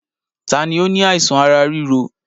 Taàní ó ní àìsàn ará ríro?